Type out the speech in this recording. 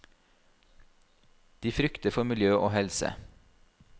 De frykter for miljø og helse.